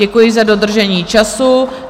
Děkuji za dodržení času.